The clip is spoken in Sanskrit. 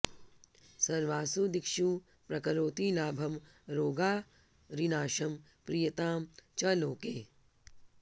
सर्वासु दिक्षु प्रकरोति लाभं रोगारिनाशं प्रियतां च लोके